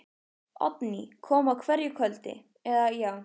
Oddný kom á hverju kvöldi, eða, já.